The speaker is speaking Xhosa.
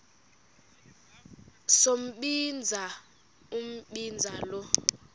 sombinza umbinza lo